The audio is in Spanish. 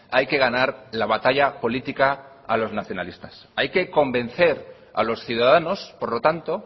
hay que ganar la batalla política a los nacionalistas hay que convencer a los ciudadanos por lo tanto